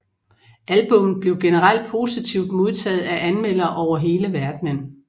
Albummet blev generelt positivt modtaget af anmeldere over hele verdenen